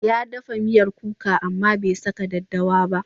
Ya dafa miyar kuka amma bai saka daddawa ba.